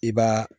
I b'a